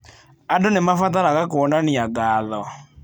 Andũ nĩ mabataraga kuonania ngatho.